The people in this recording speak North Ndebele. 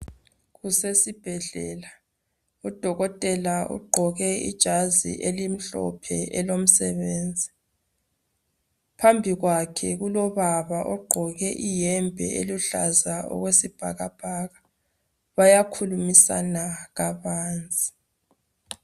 Kusesibhedlela udokotela ugqoke ijazi elimhlophe elomsebenzi. Phambili kwakhe kulobaba ogqoke iyembe eluhlaza okwesibhakabhaka bayakhulumisana kabanzi.